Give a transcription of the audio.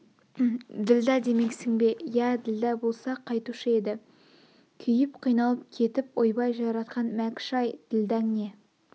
ділдә демексің бе ия ділдә болса қайтушы еді күйіп қиналып кетіп ойбай жаратқан мәкш-ай ділдәң не